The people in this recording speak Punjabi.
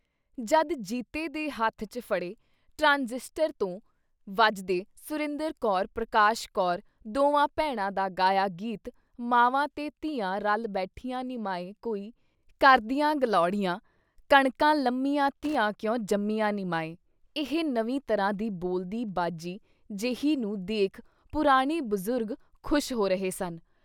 ਜਦ ਜੀਤੇ ਦੇ ਹੱਥ 'ਚ ਫੜੇ ਟਰਾਂਜਿਸਟਰ ਤੋਂ ਵੱਜਦੇ ਸੁਰਿੰਦਰ ਕੌਰ, ਪ੍ਰਕਾਸ਼ ਕੌਰ ਦੋਵਾਂ ਭੈਣਾਂ ਦਾ ਗਾਇਆ ਗੀਤ- ਮਾਵਾਂ ਤੇ ਧੀਆਂ ਰਲ ਬੈਠੀਆਂ ਨੀ ਮਾਏ ਕੋਈ ਕਰਦੀਆਂ ਗੱਲੋੜੀਆਂ, ਕਣਕਾਂ ਲੰਮੀਆਂ ਧੀਆਂ ਕਿਉਂ ਜੰਮੀਆਂ ਨੀ ਮਾਏ "— ਇਹ ਨਵੀਂ ਤਰ੍ਹਾਂ ਦੀ ਬੋਲਦੀ ਬਾਜੀ ਜੇਹੀ ਨੂੰ ਦੇਖ ਪੁਰਾਣੇ ਬਜ਼ੁਰਗ ਖ਼ੁਸ਼ ਹੋ ਰਹੇ ਸਨ।